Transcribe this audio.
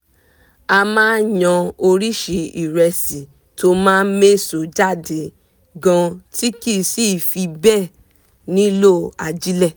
a máa yan oríṣi ìrẹsì tó máa méso jáde gan tí kì sì fi bẹ́ẹ̀ nílò ajílẹ̀